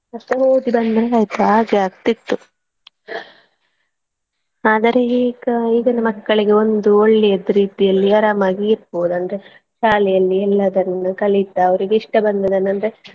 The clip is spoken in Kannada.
ಅಷ್ಟೇ ಹೋಗಿ ಬಂದಂಗ ಆಯ್ತು ಹಾಗೆ ಆಗ್ತಿತ್ತು ಆದರೆ ಈಗ ಈಗಿನ ಮಕ್ಕಳಿಗೆ ಒಂದು ಒಳ್ಳೆಯದ್ ರೀತಿಯಲ್ಲಿ ಆರಾಮಾಗಿ ಇರ್ಬೋದು ಅಂದ್ರೆ ಶಾಲೆಯಲ್ಲಿ ಎಲ್ಲದನ್ನು ಕಲಿತಾ ಅವರಿಗೆ ಇಷ್ಟಬಂದದನ್ನು ಅಂದ್ರೆ.